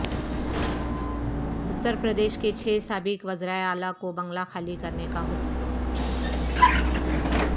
اترپردیش کے چھ سابق وزراء اعلی کو بنگلہ خالی کرنے کا حکم